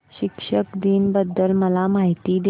शिक्षक दिन बद्दल मला माहिती दे